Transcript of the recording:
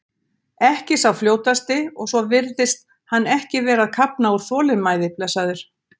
Ekki sá fljótasti og svo virðist hann ekki vera að kafna úr þolinmæði blessaður.